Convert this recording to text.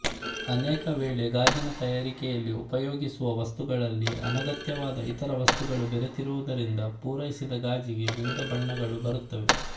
ಅನೇಕ ವೇಳೆ ಗಾಜಿನ ತಯಾರಿಕೆಯಲ್ಲಿ ಉಪಯೋಗಿಸುವ ವಸ್ತುಗಳಲ್ಲಿ ಅನಗತ್ಯವಾದ ಇತರ ವಸ್ತುಗಳು ಬೆರೆತಿರುವುದರಿಂದ ಪುರೈಸಿದ ಗಾಜಿಗೆ ವಿವಿಧ ಬಣ್ಣಗಳು ಬರುತ್ತವೆ